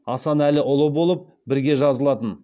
асанәліұлы болып бірге жазылатын